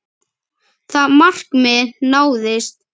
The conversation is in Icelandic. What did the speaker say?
Það markmið náðist.